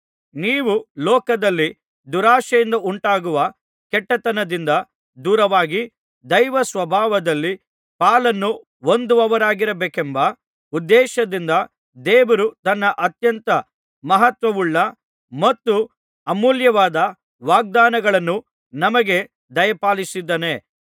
ನೀವು ಲೋಕದಲ್ಲಿ ದುರಾಶೆಯಿಂದುಂಟಾಗುವ ಕೆಟ್ಟತನದಿಂದ ದೂರವಾಗಿ ದೈವಸ್ವಭಾವದಲ್ಲಿ ಪಾಲನ್ನು ಹೊಂದುವವರಾಗಬೇಕೆಂಬ ಉದ್ದೇಶದಿಂದ ದೇವರು ತನ್ನ ಅತ್ಯಂತ ಮಹತ್ವವುಳ್ಳ ಮತ್ತು ಅಮೂಲ್ಯವಾದ ವಾಗ್ದಾನಗಳನ್ನು ನಮಗೆ ದಯಪಾಲಿಸಿದ್ದಾನೆ